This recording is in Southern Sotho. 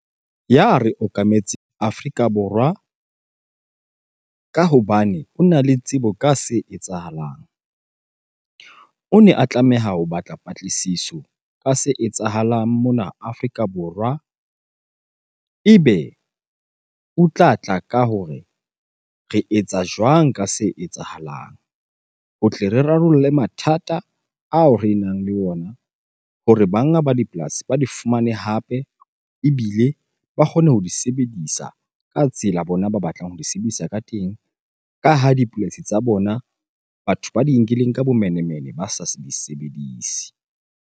Ya re okametseng Afrika Borwa ka hobane ona le tsebo ka se etsahalang. O ne a tlameha ho batla patlisiso ka se etsahalang mona Afrika Borwa ebe o tlatla ka hore re etsa jwang ka se etsahalang? Ho tle re rarolle mathata ao re nang le ona hore banga ba dipolasi ba di fumane hape ebile ba kgone ho di sebedisa ka tsela bona ba batlang ho di sebedisa ka teng. Ka ha dipolasi tsa bona, batho ba di nkileng ka bomenemene ba sa se di sebedise.